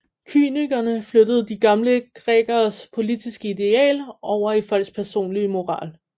Kynikerne flyttede de gamle grækeres politiske ideal over i folks personlige moral